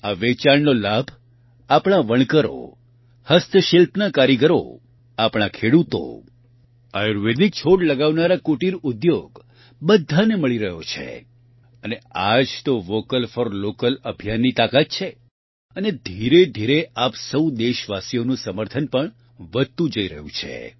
આ વેચાણનો લાભ આપણા વણકરો હસ્તશિલ્પના કારીગરો આપણા ખેડૂતો આયુર્વેદિક છોડ લગાવનારા કુટિર ઉદ્યોગ બધાને મળી રહ્યો છે અને આ જ તો વોકલ ફોર લોકલ અભિયાનની તાકાત છે અને ધીરેધીરે આપ સહુ દેશવાસીઓનું સમર્થન પણ વધતું જઇ રહ્યું છે